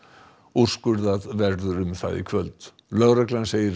úrskurðað verður um það í kvöld lögreglan segir